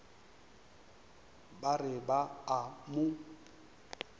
ba re ba a mo